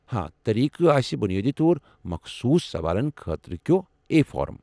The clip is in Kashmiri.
طریقہٕ آسہ بنیٲدی طور مخصوص سوالن خٲطرٕ کیو اے فارم ۔